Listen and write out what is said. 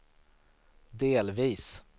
delvis